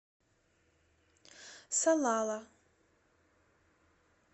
салала